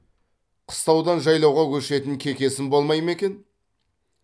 қыстаудан жайлауға көшетін кекесін болмай ма екен